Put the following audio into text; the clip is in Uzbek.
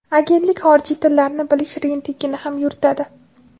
Agentlik xorijiy tillarni bilish reytingini ham yuritadi.